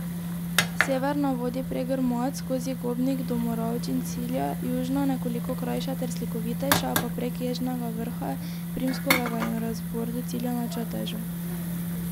Severna vodi prek Grmad, skozi Gobnik do Moravč in cilja, južna, nekoliko krajša ter slikovitejša, pa prek Ježnega vrha, Primskovega in Razbor do cilja na Čatežu.